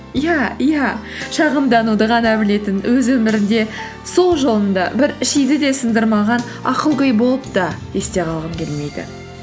иә иә шағымдануды ғана білетін өз өміріңде сол жолында бір шиді де сындырмаған ақылгөй болып та есте қалғым келмейді